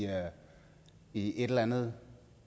i en eller anden